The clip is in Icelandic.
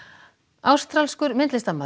ástralskur myndlistarmaður